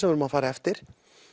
við erum að fara eftir